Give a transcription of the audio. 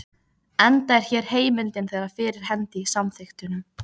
enda er hér heimildin þegar fyrir hendi í samþykktunum.